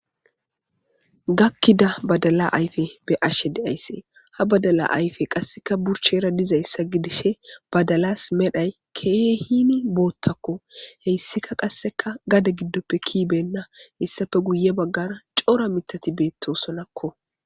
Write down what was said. Gakkida badala ayife beashe deayisi ha badala ayifeti qasekka badala buchera dizayisa gidishe badalasi medhdhoyi kehi botakko hayisikka qasekka gade gidoppe kei beyina hesappe guyera cora miththati betosonakko